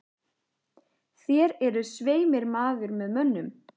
Þér eruð svei mér maður með mönnum.